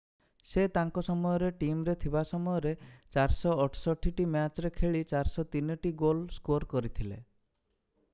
ସେ ତାଙ୍କ ସମୟରେ ଟିମରେ ଥିବା ସମୟରେ 468 ଟି ମ୍ୟାଚରେ ଖେଳି 403ଟି ଗୋଲ ସ୍କୋର କରିଥିଲେ